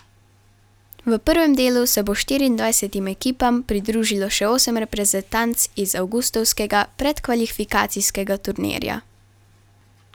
V prvem delu se bo štiriindvajsetim ekipam pridružilo še osem reprezentanc iz avgustovskega predkvalifikacijskega turnirja.